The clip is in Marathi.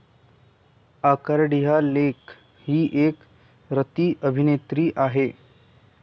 अकार्डिया लेक हि एक रतिअभिनेत्री आहे.